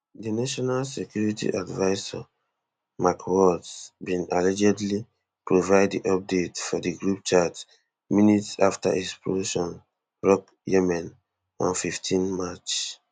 di national security advisor mike waltz bin allegedly provide di update for di group chat minutes afta explosions rock yemen on fifteen march